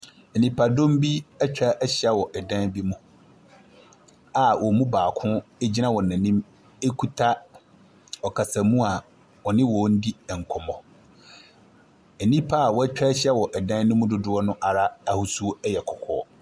Nnipadɔm bi ɛtwahyia wɔ ɛdan bi mu a wɔn mu baako egyina wɔn anim ekuta ɔkasamua ,ɔne wɔn di nkɔmmɔ. Nnipa wɛtwahyia ɛdɛm no mu dodoɔ na ahosuo ɛyɛ kɔkɔɔ.